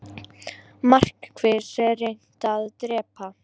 Markvisst reynt að drepa